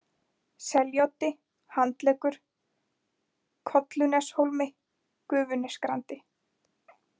Seljaoddi, Handleggur, Kolluneshólmi, Gufunesgrandi